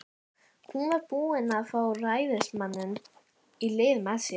Hún var búin að fá ræðismanninn í lið með sér.